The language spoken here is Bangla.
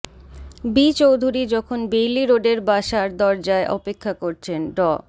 বি চৌধুরী যখন বেইলি রোডের বাসার দরজায় অপেক্ষা করছেন ড